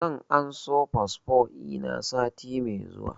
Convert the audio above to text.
Zan anso fasfo ina sati mai zuwa